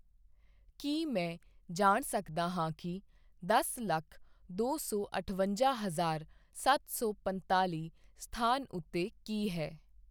ਕੀ ਮੈਂ ਜਾਣ ਸਕਦਾ ਹਾਂ ਕੀ ਦਸ ਲੱਖ ਦੋ ਸੌ ਅਠਵੰਜ਼ਾ ਹਜ਼ਾਰ ਸੱਤ ਸੌ ਪੰਤਾਲੀ ਸਥਾਨ ਉੱਤੇ ਕੀ ਹੈ?